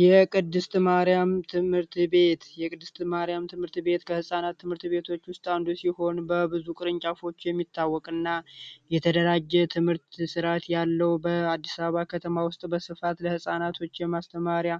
የቅድስት ማርያም ትምህርት ቤት፦ የቅድስት ማርያም ትምህርት ቤት ከህፃናት ትምህርት ቤቶች ውስጥ አንዱ ሲሆን በብዙ ቅርንጫፎች የሚታወቅና የተደራጀ የትምህርት ስርዓት ያለው በአዲስ አበባ ከተማ ውስጥ በስፋት ለህፃናቶች የማስተማሪያ